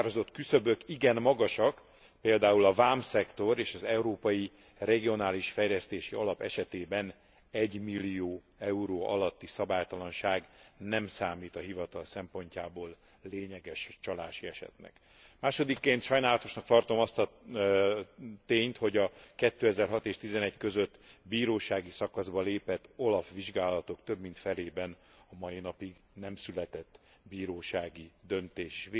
A meghatározott küszöbök igen magasak, például a vámszektor és az Európai Regionális Fejlesztési Alap esetében egymillió euró alatti szabálytalanság nem számít a hivatal szempontjából lényeges csalási esetnek. Másodikként sajnálatosnak tartom azt a tényt, hogy a 2006 és 2011 között bírósági szakaszba lépett OLAF vizsgálatok több mint felében a mai napig nem született bírósági döntés.